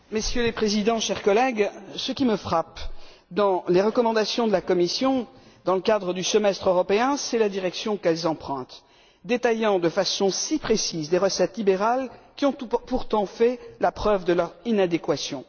Monsieur le Président, chers collègues, ce qui me frappe dans les recommandations de la Commission, dans le cadre du semestre européen, c'est la direction qu'elles empruntent, détaillant de façon si précise des recettes libérales qui ont pourtant fait la preuve de leur inadéquation.